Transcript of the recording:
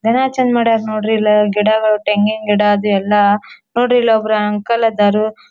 ನೆಲ ಚೆಂದ ಮಡ್ಯಾರ್ ನೋಡ್ರಿ ಎಲ್ಲ ಗಿಡಗಳು ತೆಂಗಿನ ಗಿಡ ಅದು ಎಲ್ಲ ನೋಡ್ರಿ ಇಲ್ ಒಬ್ರ್ ಅಂಕಲ್ ಅದಾರು.